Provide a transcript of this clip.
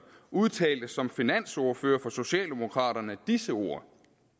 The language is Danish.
udtalte som finansordfører for socialdemokraterne disse ord